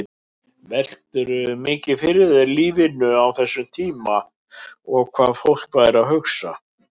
Veltirðu mikið fyrir þér lífinu á þessum tíma og hvað fólk væri að hugsa?